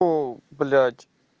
о блять